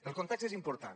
el context és important